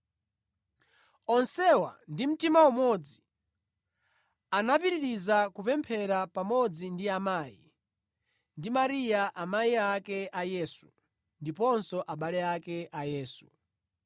Onsewa ndi mtima umodzi anapitiriza kupemphera pamodzi ndi amayi, ndi Mariya amayi ake a Yesu, ndiponso abale ake a Yesu.